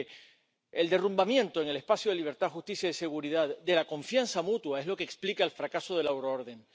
Porque el derrumbamiento, en el espacio de libertad, justicia y seguridad, de la confianza mutua es lo que explica el fracaso de la euroorden.